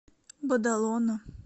бадалона